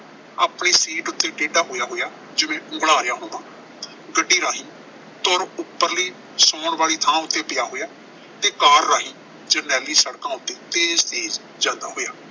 ਆਪਣੀ ਸੀਟ ਉੱਤੇ ਟੇਢਾ ਹੋਇਆ ਹੋਇਆ ਜਿਵੇਂ ਉਂਘਲਾ ਰਿਹਾ ਹੋਵਾਂ। ਗੱਡੀ ਰਾਹੀਂ ਧੁਰ ਉਪਰਲੀ ਸੌਣ ਵਾਲੀ ਥਾਂ ਉੱਤੇ ਪਿਆ ਹੋਇਆ ਤੇ ਕਾਰ ਰਾਹੀਂ ਜਰਨੈਲੀ ਸੜਕਾਂ ਉੱਤੇ ਤੇਜ਼ ਤੇਜ਼ ਚਲਦਾ ਹੋਇਆ।